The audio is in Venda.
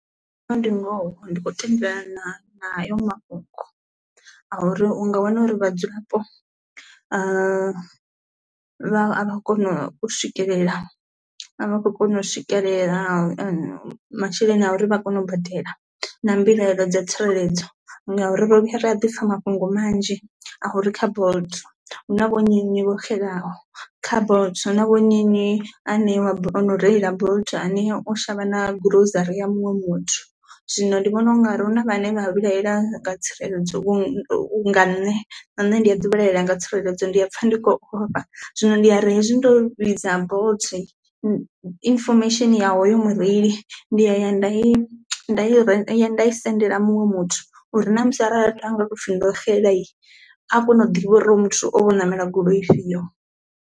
ndi ngoho ndi khou tendelana na hato mafhungo a uri u nga wana uri vhadzulapo a vha a kona u swikelela a vha khou kona u swikelela masheleni a uri vha kone u badela na mbilahelo dza tsireledzo ngauri ro vhuya ra a ḓisa mafhungo manzhi a uri kha Bolt hu na vho nnyi nnyi vho xelaho. Kha Bolt hu na vho nnyi nnyi a ṋeiwa o no reila Bolt ane u shavha na grocery muṅwe muthu, zwino ndi vhona ungari hu na vhane vha vhilahela nga tsireledzo vhu nga nṋe, na nṋe ndi a ḓi vhalelela nga tsireledzo ndi a pfha ndi khou ofha zwino ndi ya ri hezwi ndo vhidza Bolt information ya hoyu mureili ndi aya nda i ye nda i sendela muṅwe muthu uri na musi arali haga toupfi ndo xela a kone u ḓivha uri hoyu muthu o tou ṋamela goloi ifhio.